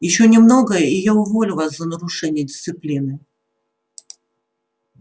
ещё немного и я уволю вас за нарушение дисциплины